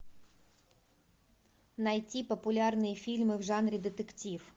найти популярные фильмы в жанре детектив